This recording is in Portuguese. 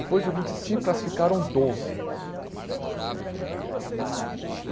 Depois do vinte e cinco, classificaram doze.